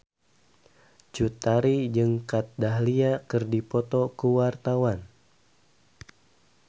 Cut Tari jeung Kat Dahlia keur dipoto ku wartawan